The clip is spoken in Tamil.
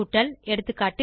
கூட்டல் எகா